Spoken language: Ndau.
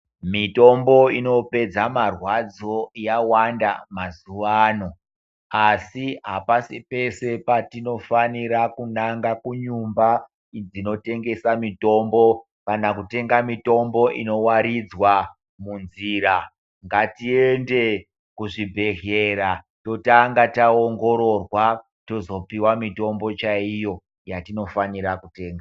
Mitombo inopedza marwadzo yawanda mazuva ano asi apasi pese patinofanira kunanga kunyumba dzinotengesa mitombo kana kutenga mitombo inowaridzwa munzira, ngatiende kuzvibhedhlera totanga taongororwa tozopiwa mitombo chaiyo yatinofanira kutenga.